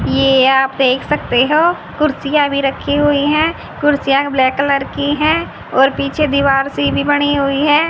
ये आप देख सकते हो कुर्सियां भी रखी हुई हैं कुर्सियां ब्लैक कलर की हैं और पीछे दीवार सीधी पड़ी हुई है।